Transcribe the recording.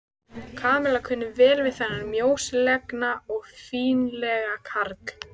Kamilla kunni vel við þennan mjóslegna og fínlega karl.